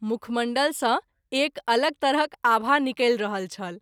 मुखमण्डल सँ एक अलग तरहक आभा निकलि रहल छल।